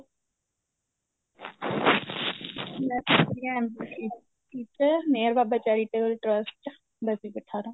ਮੈਂ ਸਿੱਖਦੀ ਆ MB city ਚ ਮੇਹਿਰ ਬਾਬਾ charitable trust ਬਸੀ ਪਠਾਣਾ